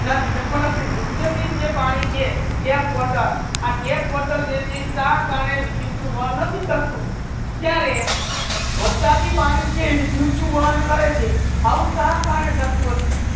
નથી એ મતલબ નિચે નિચે પાણી છે tap water આ tap water જે છે ઇ strat અને વિધુત વન નથી કરતુ ત્યારે વર્ષાત ની પાણી છે વિધુત ની વન કરે છે આઉ શા કરને થાતુ હાસે